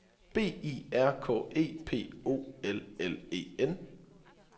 B I R K E P O L L E N